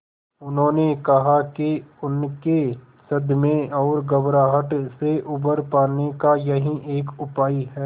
उन्होंने कहा कि उनके सदमे और घबराहट से उबर पाने का यही एक उपाय है